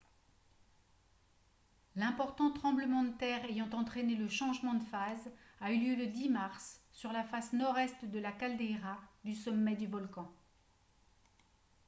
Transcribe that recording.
l'important tremblement de terre ayant entraîné le changement de phase a eu lieu le 10 mars sur la face nord-est de la caldeira du sommet du volcan